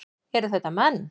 Eru þetta menn?